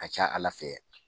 ka ca Ala fɛ